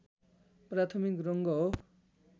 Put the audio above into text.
प्राथमिक रङ्ग हो